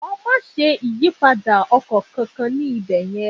Jọ̀wọ́ má ṣe ṣe ìyípadà ọkọ̀ kankan ní ibẹ̀ yẹn.